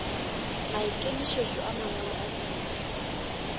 maikemišetšo a mangwalo a thuto